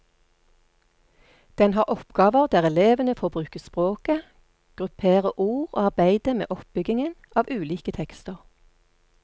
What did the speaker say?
Den har oppgaver der elevene får bruke språket, gruppere ord og arbeide med oppbyggingen av ulike tekster.